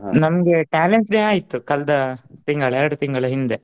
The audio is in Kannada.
ನಮ್ಗೆ talents day ಆಯ್ತು ಕಳ್ದ ತಿಂಗಳ ಎರಡು ತಿಂಗಳ ಹಿಂದೆ